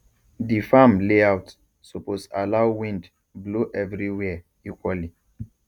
di farm layout suppose allow wind blow every where equally